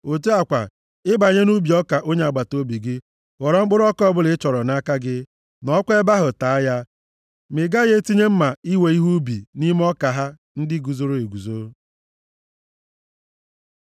Otu a kwa, ị banye nʼubi ọka onye agbataobi gị, ghọrọ mkpụrụ ọka ọbụla ị chọrọ nʼaka gị, nọọkwa nʼebe ahụ taa ya, ma ị gaghị etinye mma iwe ihe ubi nʼime ọka ha ndị guzoro eguzo.